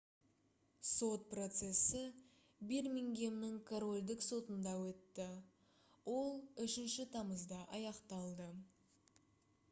сот процесі бирмингемнің корольдік сотында өтті ол 3 тамызда аяқталды